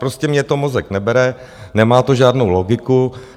Prostě mně to mozek nebere, nemá to žádnou logiku.